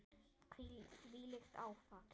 Þvílíkt áfall.